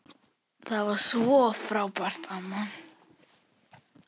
Þú varst svo frábær amma.